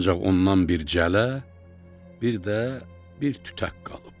Ancaq ondan bir cələ, bir də bir tütək qalıb.